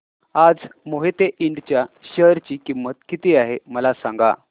आज मोहिते इंड च्या शेअर ची किंमत किती आहे मला सांगा